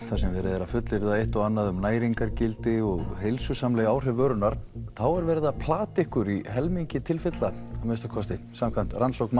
þar sem verið er að fullyrða eitt og annað um næringargildi og heilsusamleg áhrif vörunnar þá er verið að plata ykkur í helmingi tilfella samkvæmt rannsókn